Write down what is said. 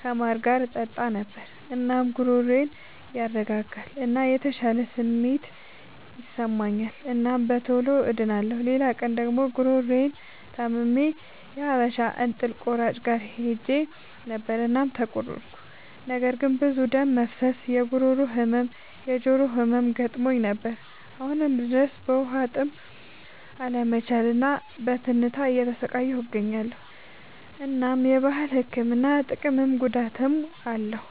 ከማር ጋር እጠጣ ነበር። እናም ጉሮሮዬን ያረጋጋል እና የተሻለ ስሜት ይሰጠኛል እናም በቶሎ ድኛለሁ። ሌላ ቀን ደግሞ ጉሮሮየን ታምሜ የሀበሻ እንጥል ቆራጭ ጋር ሄጀ ነበር እናም ተቆረጥኩ። ነገር ግን ብዙ ደም መፍሰስ፣ የጉሮሮ ህመም፣ የጆሮ ህመም ገጥሞኝ ነበር። አሁንም ድረስ በዉሀጥም አለመቻል እና በትንታ እየተሰቃየሁ እገኛለሁ። እናም የባህል ህክምና ጥቅምም ጉዳትም አለዉ።